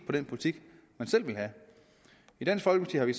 på den politik man selv vil have i dansk folkeparti har vi